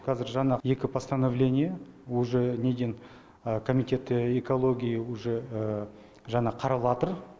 кәзір жаңа екі постановление уже неден комитет экологиии уже жаңа қараватыр